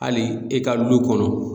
Hali e ka du kɔnɔ